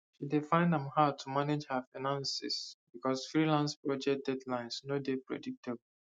she dey find am hard to manage her finances because freelance project deadlines no dey predictable